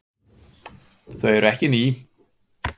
Þau eru ekki ný.